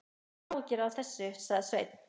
Hafðu ekki áhyggjur af þessu, sagði Sveinn.